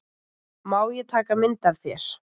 Má ég taka mynd af þér?